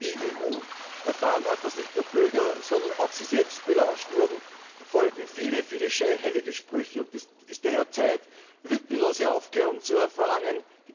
Aber nachdem die EU erfahren hat, dass nicht nur Bürger, sondern auch sie selbst belauscht wurden, folgen viele, viele scheinheilige Sprüche und es ist daher Zeit, lückenlose Aufklärung zu verlangen.